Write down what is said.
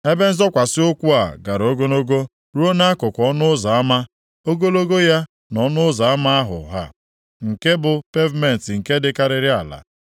Ebe nzọkwasị ụkwụ a gara ogologo ruo nʼakụkụ ọnụ ụzọ ama, ogologo ya na ọnụ ụzọ ama ahụ ha, nke a bụ pevumentị nke dịkarịrị ala.